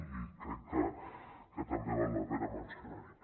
i crec que també val la pena mencionar ho